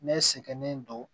Ne sɛgɛnnen don